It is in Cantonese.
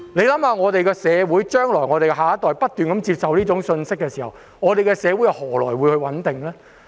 當我們的下一代不斷接收這種信息，社會又何來穩定呢？